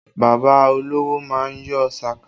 Bàbá olówó má ń yọ sàká